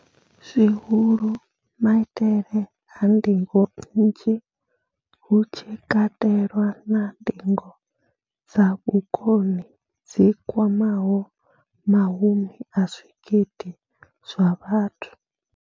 Zwihulu, maitele a ndingo nnzhi, hu tshi katelwa na ndingo dza vhukoni dzi kwamaho mahumi a zwigidi zwa vhathu.